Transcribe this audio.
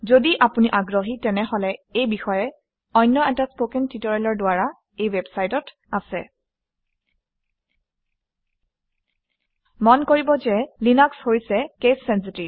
যদি আপুনি আগ্ৰহী তেনেহলে এই বিষয়ে অন্য এটা কথন প্ৰশিক্ষণ এই ৱেবচাইটত আছে মন কৰিব যে লিনাক্স হৈছে কেচ চেনচিটিভ